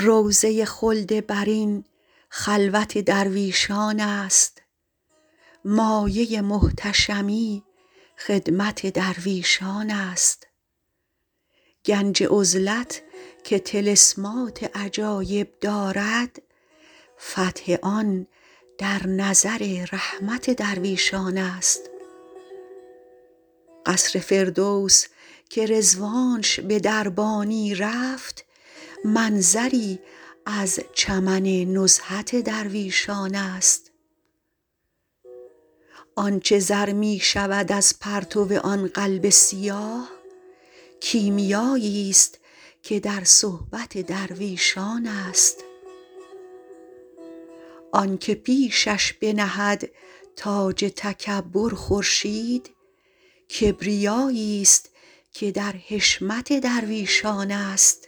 روضه خلد برین خلوت درویشان است مایه محتشمی خدمت درویشان است گنج عزلت که طلسمات عجایب دارد فتح آن در نظر رحمت درویشان است قصر فردوس که رضوانش به دربانی رفت منظری از چمن نزهت درویشان است آن چه زر می شود از پرتو آن قلب سیاه کیمیاییست که در صحبت درویشان است آن که پیشش بنهد تاج تکبر خورشید کبریاییست که در حشمت درویشان است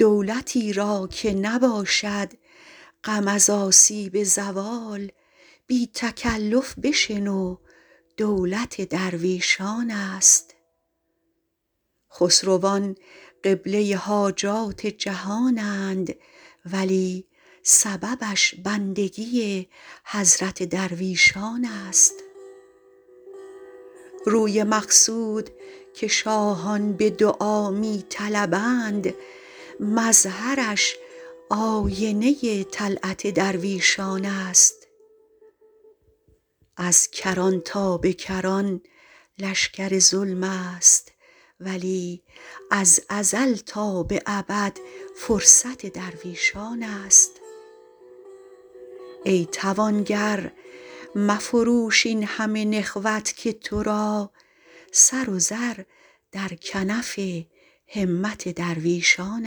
دولتی را که نباشد غم از آسیب زوال بی تکلف بشنو دولت درویشان است خسروان قبله حاجات جهانند ولی سببش بندگی حضرت درویشان است روی مقصود که شاهان به دعا می طلبند مظهرش آینه طلعت درویشان است از کران تا به کران لشکر ظلم است ولی از ازل تا به ابد فرصت درویشان است ای توانگر مفروش این همه نخوت که تو را سر و زر در کنف همت درویشان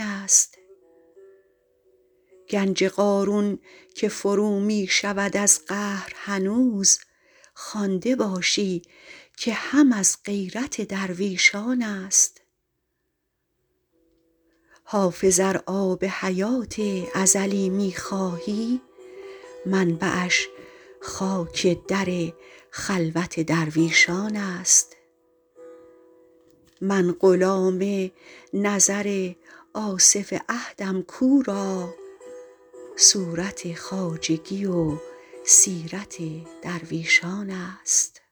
است گنج قارون که فرو می شود از قهر هنوز خوانده باشی که هم از غیرت درویشان است حافظ ار آب حیات ازلی می خواهی منبعش خاک در خلوت درویشان است من غلام نظر آصف عهدم کو را صورت خواجگی و سیرت درویشان است